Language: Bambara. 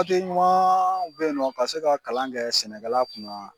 Papiye ɲuman beyinɔ ka se ka kalan kɛ sɛnɛkɛla kunna.